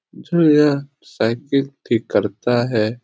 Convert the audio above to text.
यह साइकिल ठीक करता है।